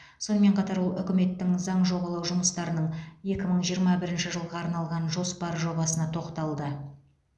сонымен қатар ол үкіметтің заң жобалау жұмыстарының екі мың жиырма бірінші жылға арналған жоспар жобасына тоқталды